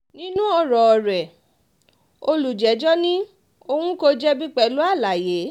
nínú ọ̀rọ̀ rẹ̀ olùjẹ́jọ́ ní òun kò jẹ̀bi pẹ̀lú àlàyé